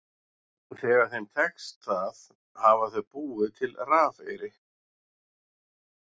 Þegar þeim tekst það hafa þau búið til rafeyri.